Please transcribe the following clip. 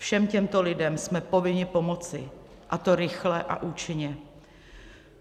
Všem těmto lidem jsme povinni pomoci, a to rychle a účinně.